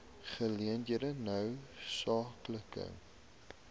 geleenthede noue skakeling